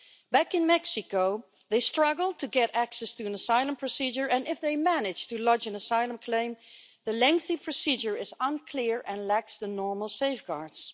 Back in Mexico they struggle to get access to an asylum procedure, and if they manage to lodge an asylum claim, the lengthy procedure is unclear and lacks the normal safeguards.